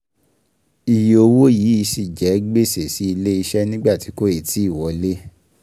Iye owó yìí ṣì jẹ́ gbèsè sí ilé iṣẹ́ nígbà tí kò ì tíì wọlé